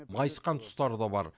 майысқан тұстары да бар